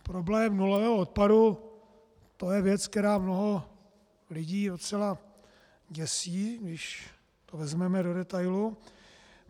Problém nulového odpadu, to je věc, která mnoho lidí docela děsí, když to vezmeme do detailu.